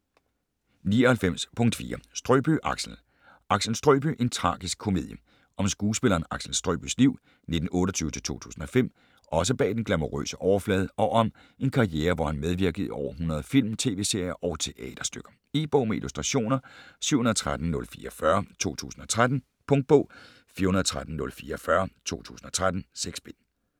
99.4 Strøbye, Axel Axel Strøbye: en tragisk komedie Om skuespilleren Axel Strøbyes liv (1928-2005) også bag den glamourøse overflade og om en karriere hvor han medvirkede i over 100 film, tv-serier og teaterstykker. E-bog med illustrationer 713044 2013. Punktbog 413044 2013. 6 bind.